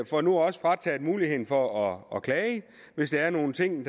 får nu også frataget muligheden for at klage hvis der er nogle ting